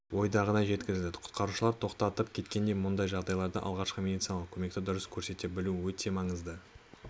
ойдағыдай жеткізілді құтқарушылар тоқтаып кеткендей мұндай жағдайларда алғашқы медициналық көмекті дұрыс көрсете білу өте маңызды